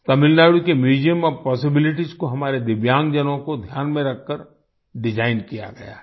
तमिलनाडु के museum of possibilities को हमारे दिव्यांगजनों को ध्यान में रखकरdesign किया गया है